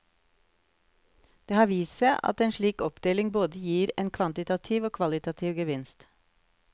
Det har vist seg at en slik oppdeling både gir en kvantitativ og kvalitativ gevinst.